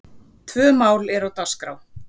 Tvö mál eru á dagskrá.